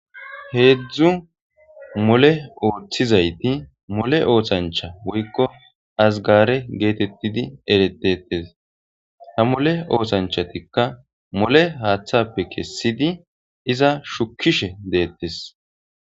Hedzdzu mole oothizayti mole othancha woykko azgare geetetidi eretetees ha mole othanchatikka mole haathappe kesiidi iza shukishe deetees.